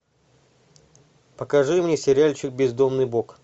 покажи мне сериальчик бездомный бог